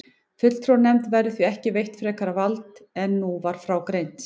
Fulltrúanefnd verður því ekki veitt frekara vald en nú var frá greint.